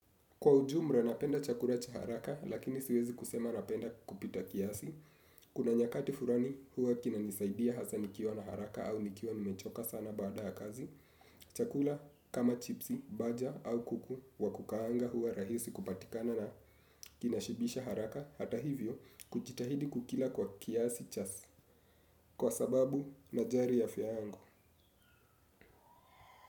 Kwa ujumla napenda chakula cha haraka lakini siwezi kusema napenda kupita kiasi. Kuna nyakati fulani huwa kinanisaidia hasa nikiwa na haraka au nikiwa nimechoka sana baada ya kazi. Chakula kama chipsi, baja au kuku wakukaanga huwa rahisi kupatikana na kinashibisha haraka hata hivyo kujitahidi kukila kwa kiasi cha. Kwa sababu najali afya yangu.